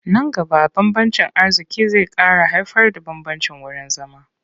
Nan gaba bambancin arziƙi zai ƙara haifarda bambancin wurin zama.